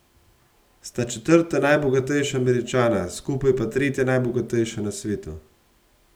Sta četrta najbogatejša Američana, skupaj pa tretja najbogatejša na svetu.